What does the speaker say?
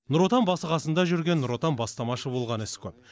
нұр отан басы қасында жүрген нұр отан бастамашы болған іс көп